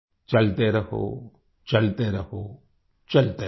चलते रहोचलते रहोचलते रहो